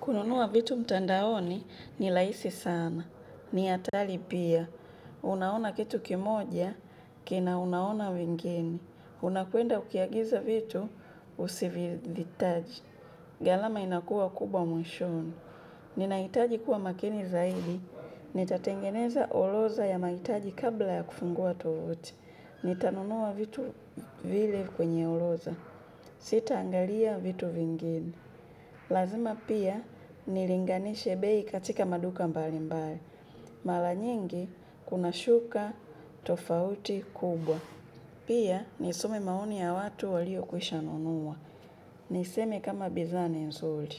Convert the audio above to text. Kununua vitu mtandaoni ni laisi sana. Ni hatari pia. Unaona kitu kimoja, kina unaona vingine. Unapoenda ukiagiza vitu, usivitaje. Ghalama inakuwa kubwa mwishowe. Ninahitaji kuwa makini zaidi. Nitatengeneza orodha ya mahitaji kabla ya kufungua tovuti. Nitanunua vitu vile kwenye orodha. Sitaangalia vitu vingine. Lazima pia nilinganishe bei katika maduka mbali mbali. Mara nyingi kunashuka tofauti kubwa. Pia niisome maoni ya watu waliokwisha nunua. Niseme kama bidhaa ni nzuli.